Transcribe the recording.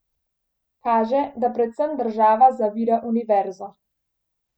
Kaže, da predvsem država zavira univerzo.